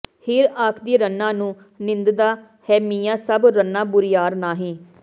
ਹੀਰ ਆਖਦੀ ਰੰਨਾਂ ਨੂੰ ਨਿੰਦਦਾ ਹੈਂ ਮੀਆਂ ਸਭ ਰੰਨਾਂ ਬੁਰਿਆਰ ਨਾਹੀਂ